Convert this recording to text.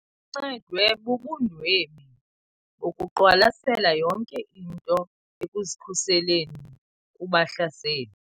Uncedwe bubundwebi bokuqwalasela yonke into ekuzikhuseleni kubahlaseli.